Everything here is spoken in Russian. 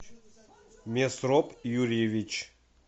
месроп юрьевич